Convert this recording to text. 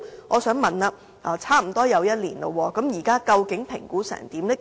我想問，事隔差不多1年，究竟評估的結果為何？